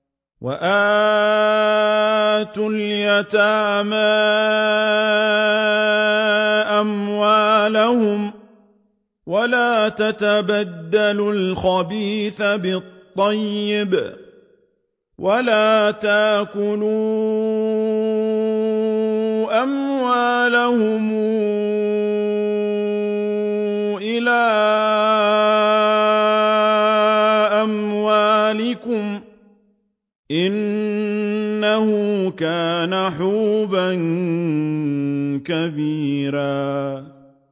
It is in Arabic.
وَآتُوا الْيَتَامَىٰ أَمْوَالَهُمْ ۖ وَلَا تَتَبَدَّلُوا الْخَبِيثَ بِالطَّيِّبِ ۖ وَلَا تَأْكُلُوا أَمْوَالَهُمْ إِلَىٰ أَمْوَالِكُمْ ۚ إِنَّهُ كَانَ حُوبًا كَبِيرًا